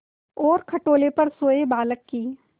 और खटोले पर सोए बालक की